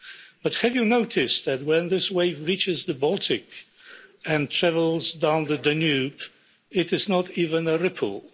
But have you noticed that, when this wave reaches the Baltic and travels down the Danube, it is not even a ripple?